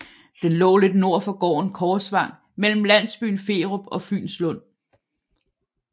Den lå lidt nord for gården Korsvang mellem landsbyen Ferup og Fynslund